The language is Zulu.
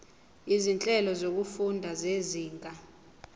izinhlelo zokufunda zezinga